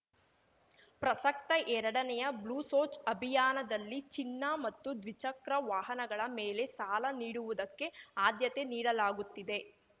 ಪ್ರಸಕ್ತ ಎರಡನೆಯ ಬ್ಲೂಸೋಚ್‌ ಅಭಿಯಾನದಲ್ಲಿ ಚಿನ್ನ ಮತ್ತು ದ್ವಿಚಕ್ರ ವಾಹನಗಳ ಮೇಲೆ ಸಾಲ ನೀಡುವುದಕ್ಕೆ ಆದ್ಯತೆ ನೀಡಲಾಗುತ್ತಿದೆ